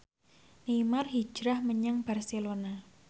Neymar hijrah menyang Barcelona